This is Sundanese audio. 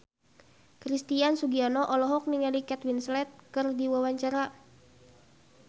Christian Sugiono olohok ningali Kate Winslet keur diwawancara